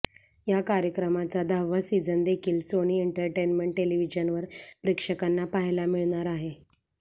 या कार्यक्रमाचा दहावा सिझन देखील सोनी एन्टरटेन्मेंट टेलिव्हिजनवर प्रेक्षकांना पाहायला मिळणार आहे